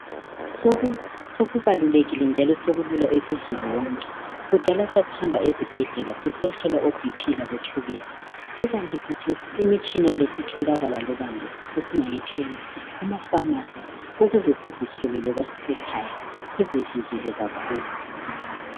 Sokubalulekile njalo sekulula kuzulu wonke. Kudala sasihamba ezibhedlela sisiyahlolwa iBP labotshukela kukanti khathesi imitshina Le isitholakala loba ngaphi sesingayithenga kumafamasi ukuze sizihlole loba sisekhaya sizivikele kakhulu.